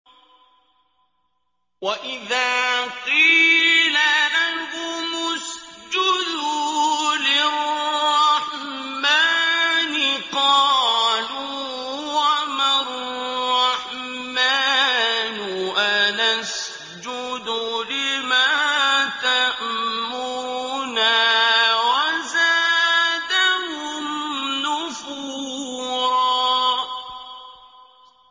وَإِذَا قِيلَ لَهُمُ اسْجُدُوا لِلرَّحْمَٰنِ قَالُوا وَمَا الرَّحْمَٰنُ أَنَسْجُدُ لِمَا تَأْمُرُنَا وَزَادَهُمْ نُفُورًا ۩